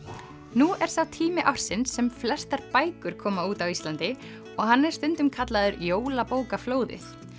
nú er sá tími ársins sem flestar bækur koma út á Íslandi og hann er stundum kallaður jólabókaflóðið